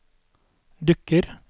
dukker